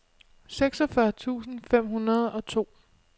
seksogfyrre tusind fem hundrede og to